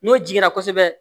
N'o jiginna kosɛbɛ